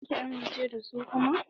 Za ki amince da zu kuma?